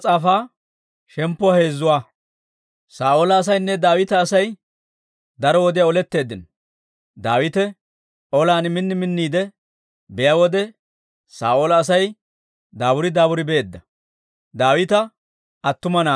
Saa'oola asaynne Daawita Asay daro wodiyaa oletteeddino; Daawite olan min minniide biyaa wode, Saa'oola Asay daaburi daaburi beedda.